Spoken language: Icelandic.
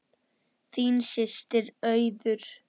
Þín systir Auður.